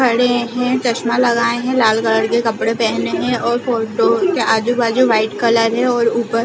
खड़े है चश्मा लगाए है लाल कलर के कपड़े पहने हुए है और फोटो के आजू - बाजू वाइट कलर है और ऊपर --